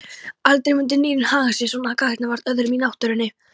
Aldrei myndu dýrin haga sér svona gagnvart öðrum í náttúrunni.